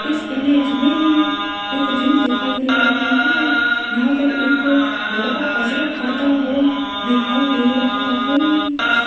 इस इमेज में एक जिम दिखाई दे रही है यहां पर एक लड़का कसरत करता हुआ दिखाई दे रहा है।